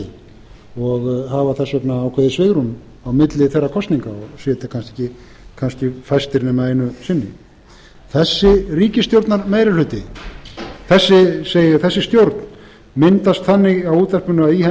fresti og hafa þess vegna ákveðið svigrúm á milli þeirra kosninga og sitja kannski fæstir nema einu sinni þessi stjórn myndast þannig á útvarpinu að í henni